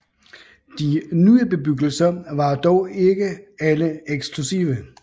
De nye bebyggelser var dog ikke alle eksklusive